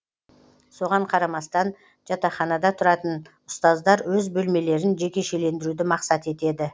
соған қарамастан жатақханада тұратын ұстаздар өз бөлмелерін жекешелендіруді мақсат етеді